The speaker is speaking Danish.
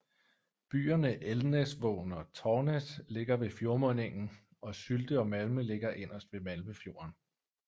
Byerne Elnesvågen og Tornes ligger ved fjordmundingen og Sylte og Malme ligger inderst ved Malmefjorden